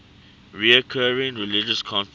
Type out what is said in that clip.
recurring religious conflicts